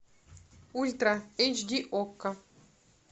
ультра эйч ди окко